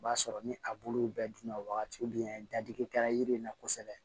O b'a sɔrɔ ni a bulu bɛɛ dun na wagati min an ye dadigi kɛ yiri in na kosɛbɛ